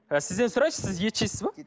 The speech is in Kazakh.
сізден сұрайыншы сіз ет жейсіз бе